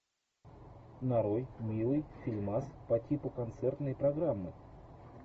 нарой милый фильмас по типу концертной программы